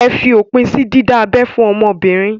Ẹ fi òpin sí dídá abẹ́ fún ọmọbìnrin!